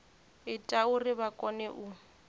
ita uri vha kone u